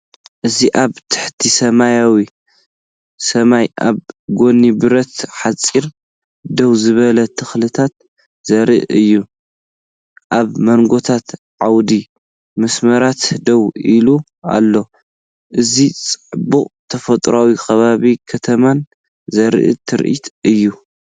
እዚ ኣብ ትሕቲ ሰማያዊ ሰማይ ኣብ ጎኒ ብረት ሓጹር ደው ዝበሉ ተክልታት ዘርኢ እዩ። ኣብ መንጎኦም ዓምዲ መስመራት ደው ኢሉ ኣሎ። እዚ ጽባቐ ተፈጥሮን ከባቢ ከተማን ዘርኢ ትርኢት እዩ።